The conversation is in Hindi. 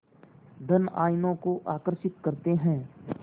धन आयनों को आकर्षित करते हैं